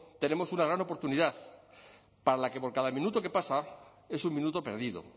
tenemos una gran oportunidad para la que por cada minuto que pasa es un minuto perdido